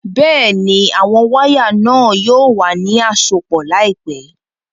Bẹ́ẹ̀ni, àwọn wàya náà yóò wà ni àsọpọ̀ laípẹ̀